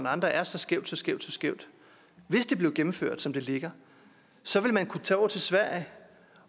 og andre er så skævt så skævt så skævt bliver gennemført som det ligger så vil man kunne tage over til sverige